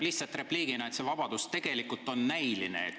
Lihtsalt repliigiks, et see vabadus on tegelikult näiline.